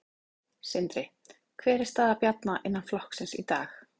Sindri: Hver er staða Bjarna innan flokksins í dag?